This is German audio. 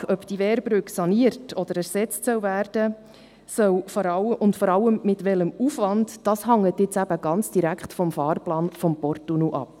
Die Frage, ob die Wehrbrücke saniert oder ersetzt werden soll und vor allem mit welchem Aufwand, hängt ganz direkt vom Fahrplan des Porttunnels ab.